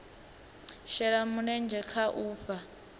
shela mulenzhe kha u fhaa